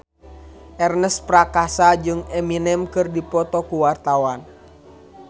Ernest Prakasa jeung Eminem keur dipoto ku wartawan